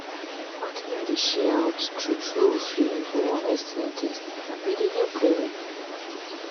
shebi you know say plenty people still dey were really get wrong belief about sti testing